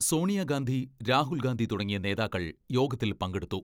സോണിയാഗാന്ധി, രാഹുൽഗാന്ധി തുടങ്ങിയ നേതാക്കൾ യോഗത്തിൽ പങ്കെടുത്തു.